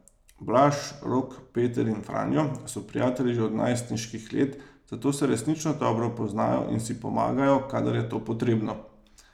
Blaž, Rok, Peter in Franjo so prijatelji že od najstniških let, zato se resnično dobro poznajo in si pomagajo, kadar je to potrebno.